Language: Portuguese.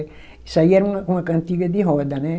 Isso aí era uma uma cantiga de roda, né?